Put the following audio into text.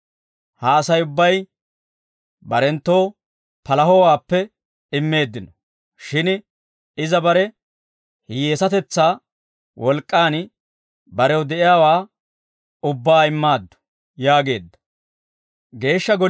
Ha Asay ubbay barenttoo palahowaappe immeeddino; shin iza bare hiyyeesateshaa wolk'k'aan barew de'iyaawaa ubbaa immaaddu» yaageedda.